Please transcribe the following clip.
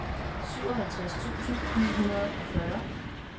syvoghalvtreds tusind ni hundrede og fyrre